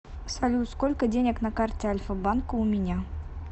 салют сколько денег на карте альфа банка у меня